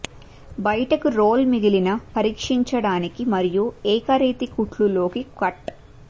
బయటకు రోల్ మిగిలిన పరీక్షించడానికి మరియు ఏకరీతి కుట్లు లోకి కట్